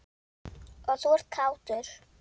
Og þú ert kátur.